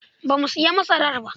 Ba mu sayi masarar ba.